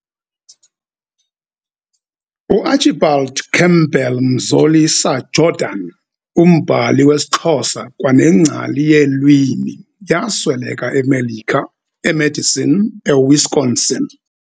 UArchibald Campbell Mzolisa Jordan, umbhali wesiXhosa kwanengcali yeelwimi yasweleka eMelika, eMadison Wisconsin.